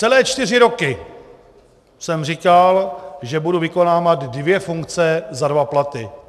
Celé čtyři roky jsem říkal, že budu vykonávat dvě funkce za dva platy.